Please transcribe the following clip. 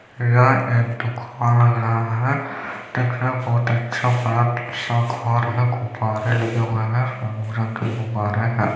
बहोत अच्छा